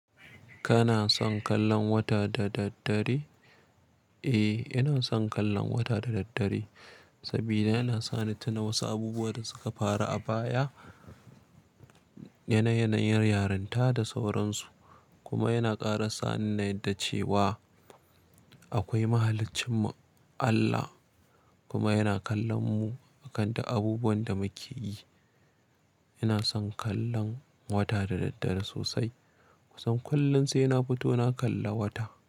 Kana son kallon wata da daddare? Eh, ina son kallon wata da daddare saboda yana sani tuno wasu abubuwan da suka faru a baya, yanayin yarinta da sauransu. Kuma yana ƙara sa ni na yarda cewa akwai mahalicinmu Allah kuma yana kallon mu akan duk abubuwan da muke yi. Ina son kallon wata da daddare sosai. Kusan kullum sai na fito na kalla wata.